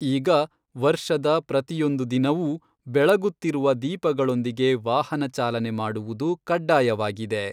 ಈಗ ವರ್ಷದ ಪ್ರತಿಯೊಂದು ದಿನವೂ ಬೆಳಗುತ್ತಿರುವ ದೀಪಗಳೊಂದಿಗೆ ವಾಹನಚಾಲನೆ ಮಾಡುವುದು ಕಡ್ಡಾಯವಾಗಿದೆ.